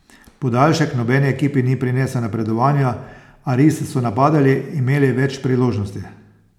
Podaljšek nobeni ekipi ni prinesel napredovanja, a risi so napadali, imeli več priložnosti.